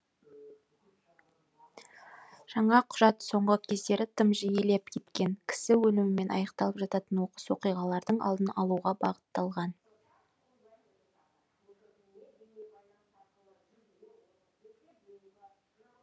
жаңа құжат соңғы кездері тым жиілеп кеткен кісі өлімімен аяқталып жататын оқыс оқиғалардың алдын алуға бағытталған